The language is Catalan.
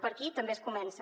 per aquí també es comença